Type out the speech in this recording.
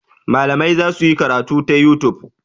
Malamai za su yi karatu ta youtube.